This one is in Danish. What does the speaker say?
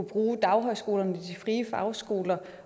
bruge daghøjskolerne og de frie fagskoler